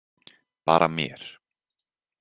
Bara mér.